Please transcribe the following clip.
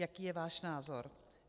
Jaký je váš názor?